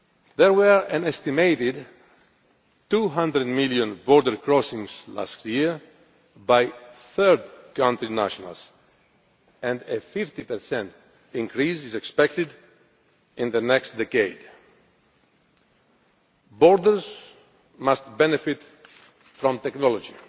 There were an estimated 200 million border crossings by third country nationals last year, and a 50 increase is expected in the next decade. Borders must benefit from technology.